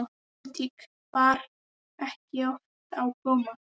Pólitík bar ekki oft á góma.